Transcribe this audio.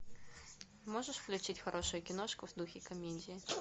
можешь включить хорошую киношку в духе комедии